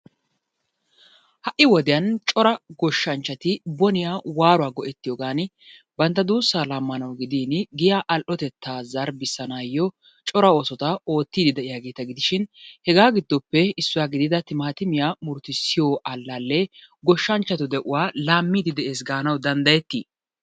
Ha'i wodiyan cora goshshanchati boniya waaruwa go'ettiyoogan bantta duusaa laamanawu gidin giyaa al'otettaa zarbbisanaayo cora oosota ootiidi de'iyaageta gidishin hegaa giddoppe issuwa gididdda timaatimiya murutussiyo alaalee goshanchatu de'uwaa laamiidi de'ees gaanawu danddayetii?